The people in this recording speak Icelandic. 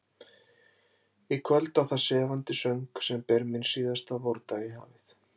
Í kvöld á það sefandi söng, sem ber minn síðasta vordag í hafið.